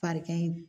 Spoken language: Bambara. Farigan in